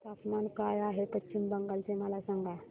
तापमान काय आहे पश्चिम बंगाल चे मला सांगा